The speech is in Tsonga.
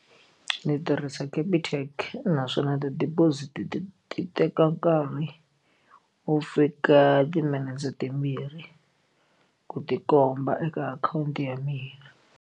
Ni tirhisa Capitec naswona ti-deposit ti teka nkarhi wo fika timinete timbirhi ku ti komba eka akhawunti ya mina.